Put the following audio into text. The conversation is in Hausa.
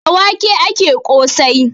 Da wake ake ƙosai.